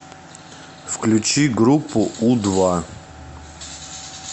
включи группу у два